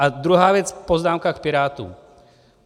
A druhá věc, poznámka k Pirátům.